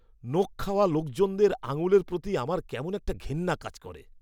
নখ খাওয়া লোকজনের আঙুলের প্রতি আমার কেমন একটা ঘেন্না কাজ করে।